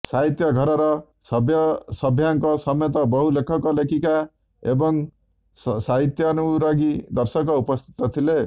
ସାହିତ୍ୟ ଘରର ସଭ୍ୟସଭ୍ୟାଙ୍କ ସମେତ ବହୁ ଲେଖକ ଲେଖିକା ଏବଂ ସାହିତ୍ୟାନୁରାଗୀ ଦର୍ଶକ ଉପସ୍ଥିତ ଥିଲେ